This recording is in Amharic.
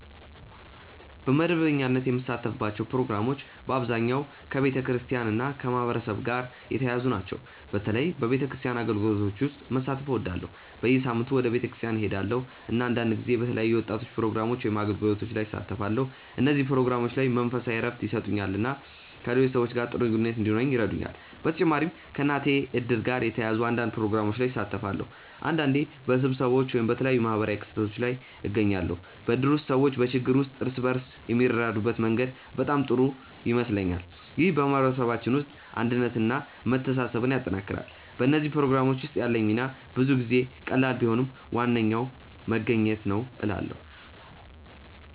በመደበኛነት የምሳተፍባቸው ፕሮግራሞች በአብዛኛው ከቤተክርስቲያን እና ከማህበረሰብ ጋር የተያያዙ ናቸው። በተለይ በቤተክርስቲያን አገልግሎቶች ውስጥ መሳተፍ እወዳለሁ። በየሳምንቱ ወደ ቤተክርስቲያን እሄዳለሁ፣ እና አንዳንድ ጊዜ በተለያዩ የወጣቶች ፕሮግራሞች ወይም አገልግሎቶች ላይ እሳተፋለሁ። እነዚህ ፕሮግራሞች መንፈሳዊ እረፍት ይሰጡኛል እና ከሌሎች ሰዎች ጋር ጥሩ ግንኙነት እንዲኖረኝ ይረዱኛል። በተጨማሪም ከእናቴ እድር ጋር የተያያዙ አንዳንድ ፕሮግራሞች ላይ እሳተፋለሁ። አንዳንዴ በስብሰባዎች ወይም በተለያዩ ማህበራዊ ክስተቶች ላይ እገኛለሁ። በእድር ውስጥ ሰዎች በችግር ጊዜ እርስ በርስ የሚረዳዱበት መንገድ በጣም ጥሩ ይመስለኛል። ይህ በማህበረሰባችን ውስጥ አንድነትን እና መተሳሰብን ያጠናክራል። በእነዚህ ፕሮግራሞች ውስጥ ያለኝ ሚና ብዙ ጊዜ ቀላል ቢሆንም ዋናው መገኘት ነው እላለ